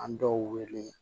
An dɔw wele